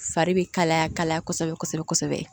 Fari bɛ kalaya ka kalaya kosɛbɛ kosɛbɛ